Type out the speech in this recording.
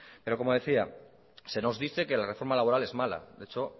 pero como decía se nos dice que la reforma laboral es mala de hecho